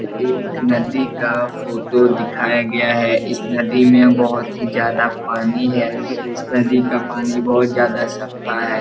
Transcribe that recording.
एक नदी का फोटो दिखाया गया है इस नदी में बहुत ही ज्यादा पानी है इस नदी का पानी बहुत ज्यादा सफा है।